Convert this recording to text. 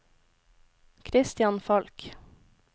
Christian Falch